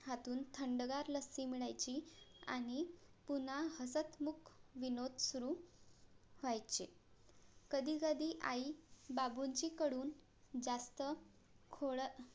हातून थंडगार लस्सी मिळायची आणि पुन्हा हसतमुख विनोद सुरु होयचे कधी कधी आई बाबूंजीं कडून जास्त खोळ